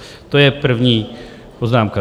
To je první poznámka.